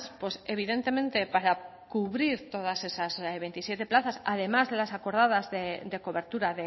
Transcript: pues evidentemente para cubrir todas esas veintisiete plazas además las acordadas de cobertura